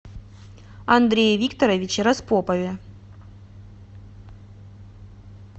андрее викторовиче распопове